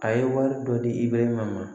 A ye wari dɔ di i bɛ ma